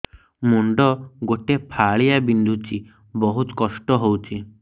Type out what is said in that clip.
ମୁଣ୍ଡ ଗୋଟେ ଫାଳିଆ ବିନ୍ଧୁଚି ବହୁତ କଷ୍ଟ ହଉଚି